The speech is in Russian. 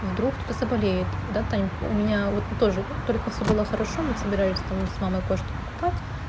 вдруг кто-то заболеет да тань у меня вот тоже только все было хорошо мы собирались там с мамой кое-что покупать